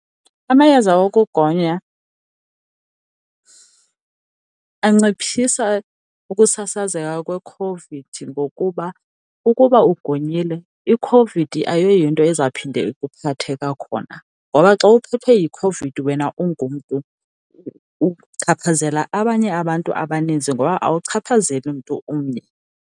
Amayeza okugonya anciphisa ukusasazeka kweCOVID, ngokuba ukuba ugonyile iCOVID ayoyinto ezawuphinde ikuphathe kwakhona. Ngoba xa uphethwe yiCOVID wena ungumntu uchaphazela abanye abantu abaninzi, ngoba akuchaphazeli mntu omnye.